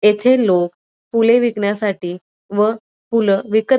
येथे लोकं फुले विकण्यासाठी व फुलं विकत --